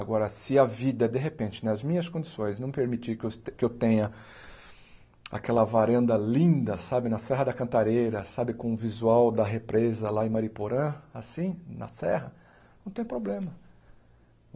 Agora, se a vida, de repente, nas minhas condições, não permitir que eu es que eu tenha aquela varanda linda, sabe, na Serra da Cantareira, sabe, com o visual da represa lá em Mariporã, assim, na serra, não tem problema.